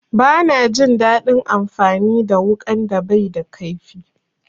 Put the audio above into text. Bana jin daɗin amfani da wuƙan da baida kaifi.